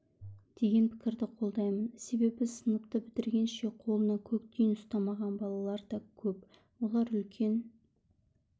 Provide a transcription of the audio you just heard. деген пікірді қолдаймын себебі сыныпты бітіргенше қолына көк тиын ұстамаған балалар да көп олар үлкен